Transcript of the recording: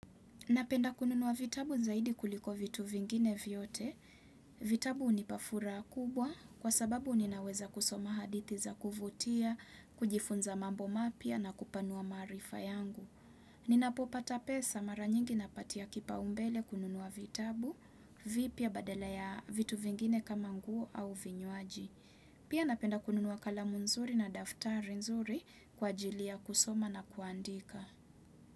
Napenda kununua vitabu zaidi kuliko vitu vingine vyote. Vitabu unipa furaha kubwa kwa sababu ninaweza kusoma hadithi za kuvutia, kujifunza mambo mapya na kupanua maarifa yangu. Ninapopata pesa mara nyingi napatia kipa umbele kununua vitabu vipya badala ya vitu vingine kama nguo au vinywaji. Pia napenda kununuwa kalamu nzuri na daftari nzuri kwa ajili ya kusoma na kuandika.